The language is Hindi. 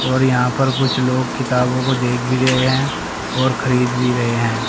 और यहां पर कुछ लोग किताबों को देख भी रहे हैं और खरीद भी रहे हैं।